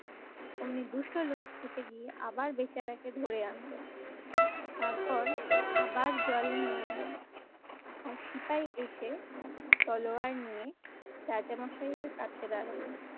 অমনি দুষ্ট লোক ছুটে গিয়ে আবার বেচারাকে ধরে আনলো। তারপর আবার জল নিয়ে এলো আর সিপাই এসে তলোয়ার নিয়ে রাজামশাই এর কাছে দারালো।